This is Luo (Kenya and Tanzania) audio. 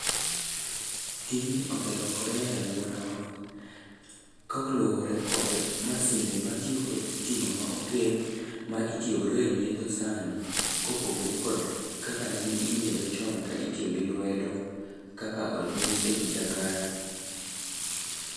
Tijni oselokore e alworawa, kaoluwore kod masinde matiyo kod sitima ma okel ma itiyo godo e nyiedho sani. Kopogore kod kaka nene inyiedho chon ka itiyo gi lwedo kaka onyis e picha kae.